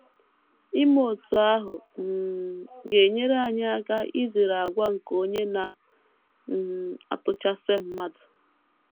Ime otú ahụ um ga - enyere anyị aka izere àgwà nke Onye Na - um atụchasị mmadụ.